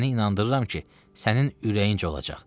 Səni inandırıram ki, sənin ürəyin olacaq.